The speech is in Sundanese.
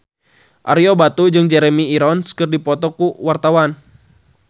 Ario Batu jeung Jeremy Irons keur dipoto ku wartawan